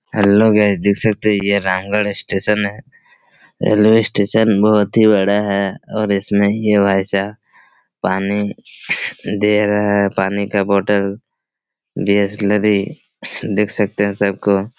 hello guys आप देख सकते है ये रामगढ़ स्टेशन है यलो स्टेशन बहुत ही बड़ा है और इसमें ये भाई साब पानी दे रहा हैं पानी का बोटल बीसलरी देख सकते है सबको--